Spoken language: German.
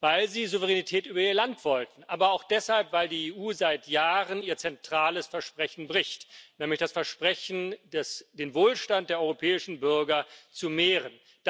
Weil sie Souveränität über ihr Land wollten, aber auch deshalb, weil die EU seit Jahren ihr zentrales Versprechen bricht, nämlich das Versprechen, den Wohlstand der europäischen Bürger zu mehren.